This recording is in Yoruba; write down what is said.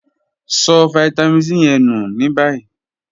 So vitamin C ye nu ni bayi.